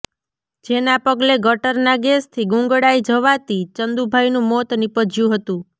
જેના પગલે ગટરના ગેસથી ગુંગળાઈ જવાતી ચંદુભાઈનું મોત નિપજ્યું હતું